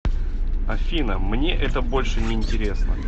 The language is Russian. афина мне это больше не интересно